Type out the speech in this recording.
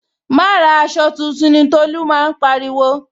Wa ra aṣọ tuntun ni Tolu máa ń pariwo